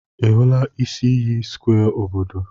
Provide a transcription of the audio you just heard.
Ị hụla isi iyi square obodo?